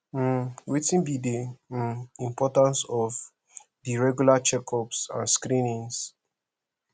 um wetin be um di importance of di regular checkups and screenings